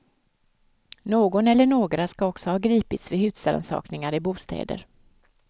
Någon eller några ska också ha gripits vid husrannsakningar i bostäder.